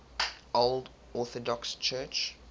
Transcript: old orthodox church